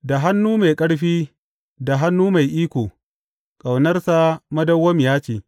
Da hannu mai ƙarfi da hannu mai iko; Ƙaunarsa madawwamiya ce.